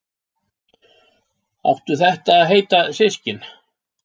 Áttu þetta að heita systkini?